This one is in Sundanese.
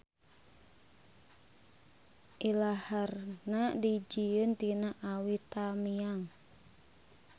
Ilaharna dijieun tina awi tamiang.